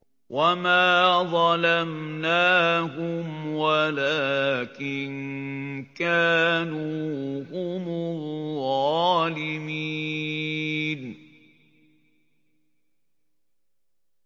وَمَا ظَلَمْنَاهُمْ وَلَٰكِن كَانُوا هُمُ الظَّالِمِينَ